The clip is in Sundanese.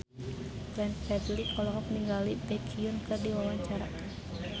Glenn Fredly olohok ningali Baekhyun keur diwawancara